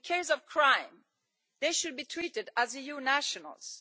In case of crime, they should be treated as EU nationals.